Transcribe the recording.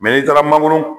n'i taara mangoro